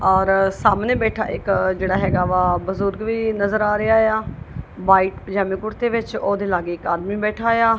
ਔਰ ਸਾਹਮਣੇ ਬੈਠਾ ਇੱਕ ਜਿਹੜਾ ਹੈਗਾ ਵਾ ਬਜ਼ੁਰਗ ਵੀ ਨਜ਼ਰ ਆ ਰਿਹਾ ਆ ਵਾਈਟ ਪੰਜਾਮੇ ਕੁੜਤੇ ਵਿੱਚ ਉਹਦੇ ਲਾਗੇ ਇਕ ਆਦਮੀ ਬੈਠਾ ਆ।